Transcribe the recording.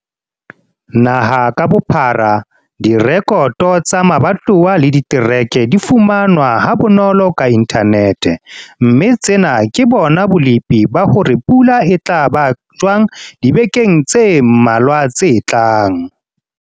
Naha ka bophara, direkoto tsa mabatowa le ditereke di fumanwa ha bonolo ka inthanete, mme tsena ke bona bolepi ba hore pula e tla ba jwang dibekeng tse mmalwa tse tlang.